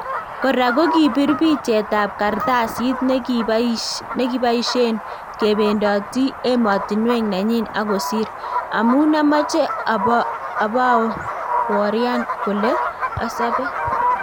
Koraa kokipiir picheetab kartasiit nekibayisyeen kebeendotii emotinweek nenyin akosiir "Amun amache abaworyaan kole asobee".